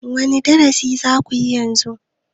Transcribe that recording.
wane darasi za ku yi yanzu?